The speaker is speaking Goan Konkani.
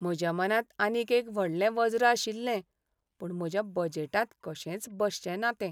म्हज्या मनांत आनीक एक व्हडलें वज्र आशिल्लें, पूण म्हज्या बजेटांत कशेंच बसचेंना तें.